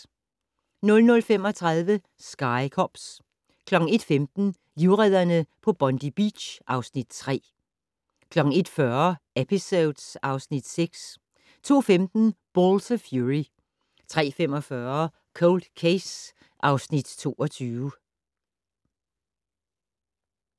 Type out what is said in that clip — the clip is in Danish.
00:35: Sky Cops 01:15: Livredderne på Bondi Beach (Afs. 3) 01:40: Episodes (Afs. 6) 02:15: Balls of Fury 03:45: Cold Case (Afs. 22)